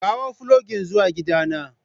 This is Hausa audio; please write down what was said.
kawo fulogin zuwa gidana.